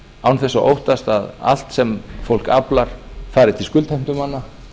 án þess að óttast að allt sem fólk aflar fari til skuldheimtumanna